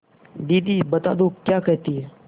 दीदी बता दो क्या कहती हैं